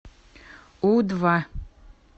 у два